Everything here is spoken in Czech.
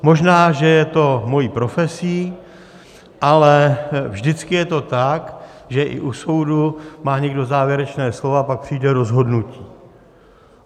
Možná že je to mojí profesí, ale vždycky je to tak, že i u soudu má někdo závěrečné slovo a pak přijde rozhodnutí.